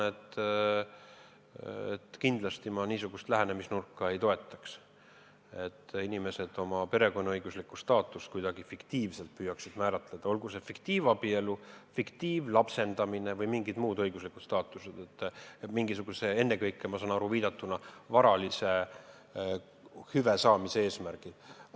Ei, ma kindlasti ei toetaks niisugust lähenemisnurka, et inimesed oma perekonnaõiguslikku staatust püüaksid kuidagi fiktiivselt määratleda, olgu see fiktiivabielu, fiktiivlapsendamine või mingi muu õiguslik staatus, ennekõike, ma sain viitest aru, varalise hüve saamise eesmärgil.